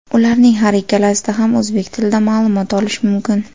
Ularning har ikkalasida ham o‘zbek tilida ma’lumot olish mumkin.